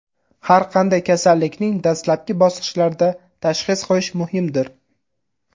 Har qanday kasallikning dastlabki bosqichlarida tashxis qo‘yish muhimdir.